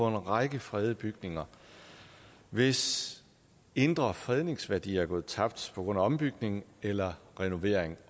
en række fredede bygninger hvis indre fredningsværdi er gået tabt på grund af ombygning eller renovering